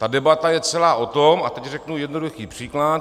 Ta debata je celá o tom - a teď řeknu jednoduchý příklad.